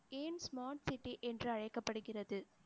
ஏன் smart city என்று அழைக்கப்படுகிறது